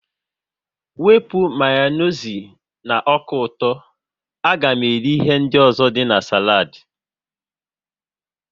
Wepụ Mayonezi na ọka ụtọ, a ga m eri ihe ndị ọzọ dị na saladi